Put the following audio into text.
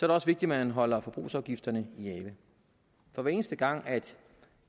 det også vigtigt at man holder forbrugsafgifterne i ave for hver eneste gang